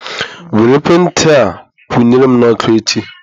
Were ekwentị a kwụ nyere m na ọkụ echi.